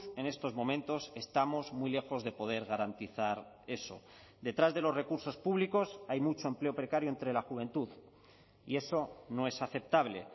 en estos momentos estamos muy lejos de poder garantizar eso detrás de los recursos públicos hay mucho empleo precario entre la juventud y eso no es aceptable